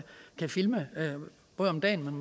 filme både om dagen